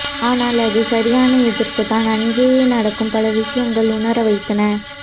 ஆனால் அது சரியான எதிர்ப்புதான் அங்கே நடக்கும் பல விஷயங்கள் உணர வைத்தன